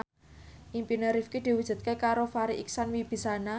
impine Rifqi diwujudke karo Farri Icksan Wibisana